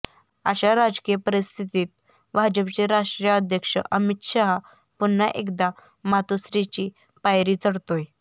अशा राजकीय परीस्थितीत भाजपचे राष्ट्रीय अध्यक्ष अमित शहा पुन्हा एकदा मातोश्रीची पायरी चढतायेत